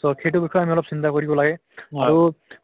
so সেইটো বিষয়ে আমি অলপ চিন্তা কৰিব লাগে হয়তো